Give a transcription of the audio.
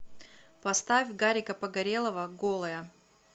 поставь гарика погорелова голая